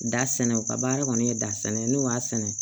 Da sɛnɛ u ka baara kɔni ye dasinɛ ye n'o y'a sɛnɛ